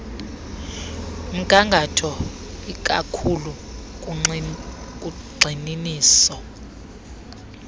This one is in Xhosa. mgangatho ikakhulu kugxininisa